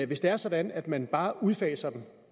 hvis det er sådan at man bare udfaser dem